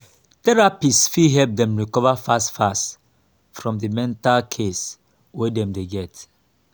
therapist fit help dem recover fast fast from di mental case wey dem dey get